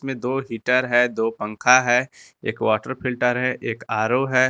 दो हीटर है दो पंखा है एक वाटर फिल्टर है एक आ_रो है।